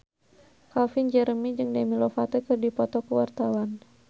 Calvin Jeremy jeung Demi Lovato keur dipoto ku wartawan